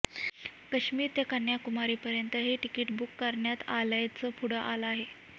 काश्मीर ते कन्याकुमारीपर्यंत हे तिकीट बुक करण्यात आल्याचं पुढं आलं आहे